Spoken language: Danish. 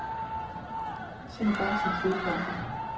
Se nu bare til fodbolden.